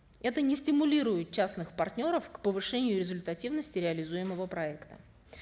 это не стимулирует частных партнеров к повышению результативности реализуемого проекта